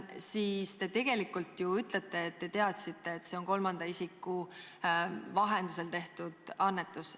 Sellega te ju tegelikult ütlete, et te teadsite, et see on kolmanda isiku vahendusel tehtud annetus.